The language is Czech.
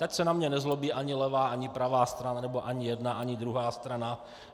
Ať se na mě nezlobí ani levá, ani pravá strana, nebo ani jedna, ani druhá strana.